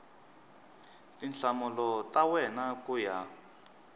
tinhlamulo ta wena ku ya